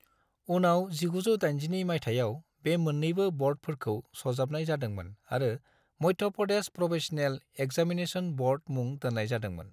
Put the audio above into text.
उनाव, 1982 मायथाइयाव, बे मोन्नैबो ब'र्डफोरखौ सरजाबनाय जादोंमोन आरो Madhya Pradesh professional examination board मुं दोन्नाय जादोंमोन।